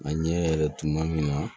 A ɲɛ yɛrɛ tuma min na